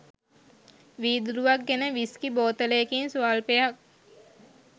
වීදුරුවක් ගෙන විස්කි බෝතලයකින් ස්වල්පයක්